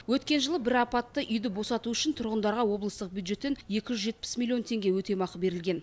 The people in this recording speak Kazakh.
өткен жылы бір апатты үйді босату үшін тұрғындарға облыстық бюджеттен екі жүз жетпіс миллион теңге өтемақы берілген